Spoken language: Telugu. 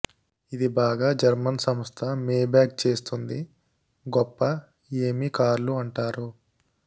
ఇది బాగా జర్మన్ సంస్థ మేబ్యాక్ చేస్తుంది గొప్ప ఏమి కార్లు అంటారు